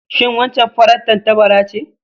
Shin waccan farar tattabara ce?